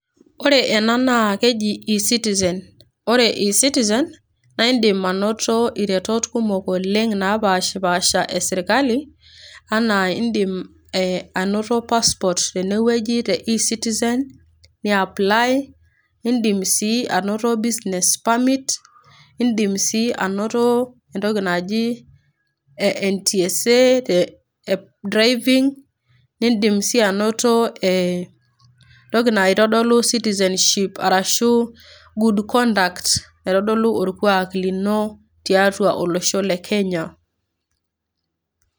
ore ena naakeji e citizen ore e citizen naa indim anoto iretot kumok oleng napashipasha esirkali anaa indim anoto passport tenewueji te e citizen ni apply indim sii anoto business permit indim sii anoto entoki naji NTSA eh drivng nindim sii anoto entoki naitodolu citizenship arashu good conduct naitodolu orkuak lino tiatua olosho le kenya.